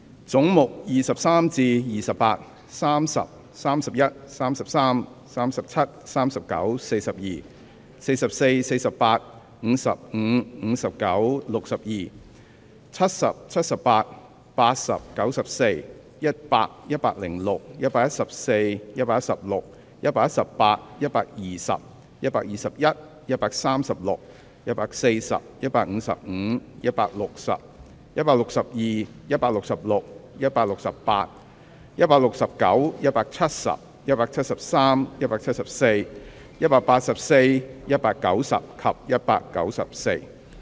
總目23至28、30、31、33、37、39、42、44、48、55、59、62、70、78、80、94、100、106、114、116、118、120、121、136、140、155、160、162、166、168、169、170、173、174、184、190及194。